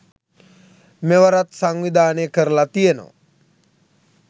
මෙවරත් සංවිධානය කරලා තියෙනවා.